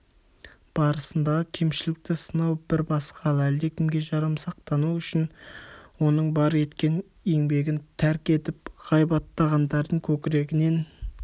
барысындағы кемшілікті сынау бір басқа ал әлдекімге жарамсақтану үшін оның бар еткен еңбегін тәрк етіп ғайбаттағандардың көкірегінен